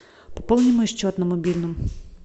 пополни мой счет на мобильном